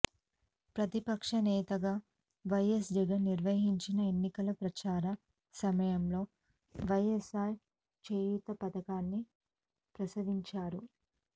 ప్రతిపక్ష నేతగా వైఎస్ జగన్ నిర్వహించిన ఎన్నికల ప్రచార సమయంలో వైఎస్ఆర్ చేయూత పథకాన్ని ప్రస్తావించారు